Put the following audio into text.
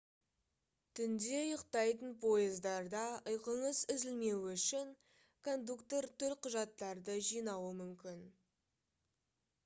түнде ұйықтайтын пойыздарда ұйқыңыз үзілмеуі үшін кондуктор төлқұжаттарды жинауы мүмкін